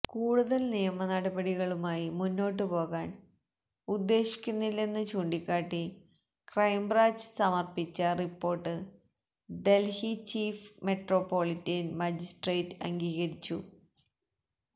കൂടുതൽ നിയമ നടപടികളുമായി മുന്നോട്ടു പോകാൻ ഉദ്ദേശിക്കുന്നില്ലെന്ന് ചൂണ്ടിക്കാട്ടി ക്രൈംബ്രാഞ്ച് സമർപ്പിച്ച report Delhi chief metropolitan magistrate അംഗീകരിച്ചു